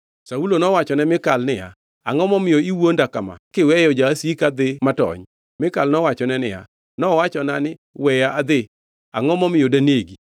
Saulo nowachone Mikal niya, “Angʼo momiyo iwuonda kama kiweyo jasika dhi matony?” Mikal nowachone niya, “Nowachona ni, ‘Weya adhi. Angʼo momiyo danegi.’ ”